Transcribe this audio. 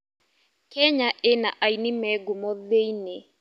Kenya ĩna aini me ngumo thĩ-inĩ.